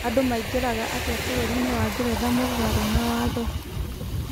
Andũ maingeraga atĩa bũrũri-inĩ wa Ngeretha mũgarũ na watho ?